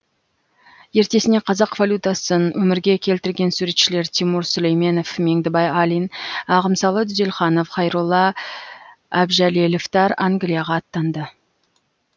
ертесіне қазақ валютасын өмірге келтірген суретшілер тимур сүлейменов меңдібай алин ағымсалы дүзелханов қайролла әбжәлеловтар англияға аттанды